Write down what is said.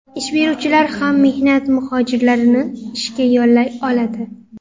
Ish beruvchilar ham mehnat muhojirlarini ishga yollay oladi.